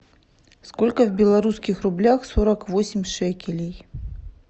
сколько в белорусских рублях сорок восемь шекелей